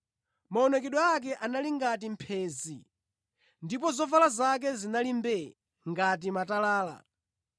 Maonekedwe ake anali ngati mphenzi ndipo zovala zake zinali mbuu ngati matalala.